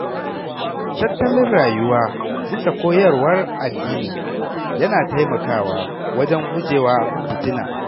Tattalin rayuwa bisa koyarwar addini yana taimakawa wajen guje wa fitina.